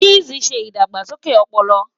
Chess ṣe idagbasoke ọpọlọ